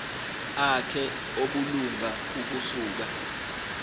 akhe obulunga ukusuka